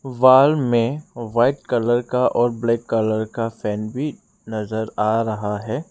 Wall में white colour का और ब्लैक कलर का फैन भी नजर आ रहा है।